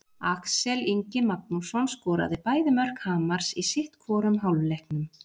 Axel Ingi Magnússon skoraði bæði mörk Hamars í sitthvorum hálfleiknum.